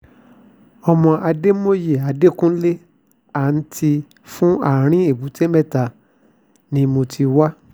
ọmọ adámòye adẹ́kunlẹ̀ àǹtí fún àrí èbúté-metta ni mo sì ti wá